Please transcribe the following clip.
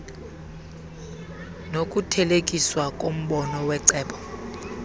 nokuthelekiswa kombono wecebo